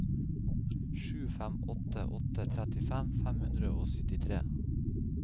sju fem åtte åtte trettifem fem hundre og syttitre